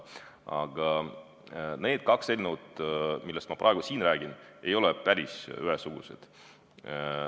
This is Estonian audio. Aga need kaks eelnõu, millest ma praegu siin räägin, ei ole päris ühesugused.